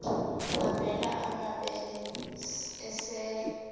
avela amabele esel